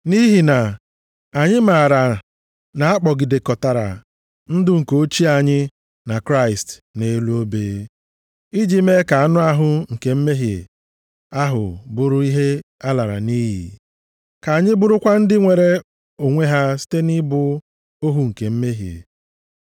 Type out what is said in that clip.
Nʼihi na anyị maara na a kpọgidekọtara ndụ nke ochie anyị na Kraịst nʼelu obe, iji mee ka anụ ahụ nke mmehie ahụ bụrụ ihe a lara nʼiyi, ka anyị bụrụkwa ndị nwere onwe ha site nʼịbụ ohu nke mmehie.